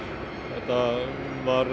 það var